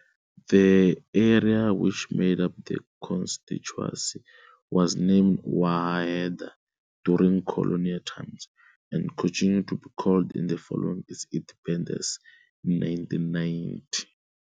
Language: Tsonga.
The area which made up the constituency was named Wanaheda during colonial times and continued to be called it following its independence in 1990.